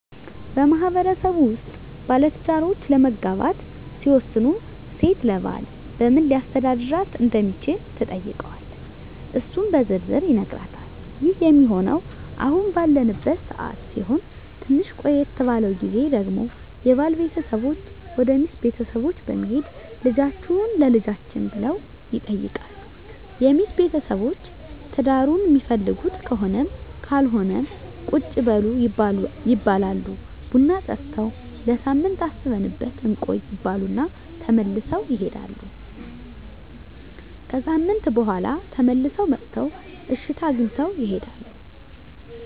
በማህበረሰቡ ውስጥ ባለትዳሮች ለመጋባት ሲወስኑ ሴት ለባል በምን ሊያስተዳድራት እንደሚችል ትጠይቀዋለች እሱም በዝርዝር ይነግራታል ይህ ሚሆነው አሁን ባለንበት ሰዓት ሲሆን ትንሽ ቆየት ባለው ግዜ ደግሞ የባል ቤተሰቦች ወደ ሚስት ቤተሰቦች በመሄድ ልጃቹህን ለልጃችን ብለው ይጠይቃሉ የሚስት ቤተሰቦች ትዳሩን ሚፈልጉት ከሆነም ካልሆነም ቁጭ በሉ ይባላሉ ቡና ጠጥተው ለሳምንት አስበንበት እንቆይ ይባሉ እና ተመልሰው ይሄዳሉ። ከሣምንት በኋላ ተመልሰው መጥተው እሽታ አግኝተው ይሄዳሉ።